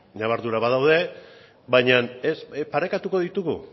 ñabardurak badaude baina parekatuko ditugu